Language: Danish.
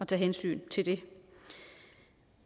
tage hensyn til det